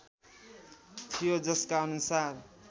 थियो जसका अनुसार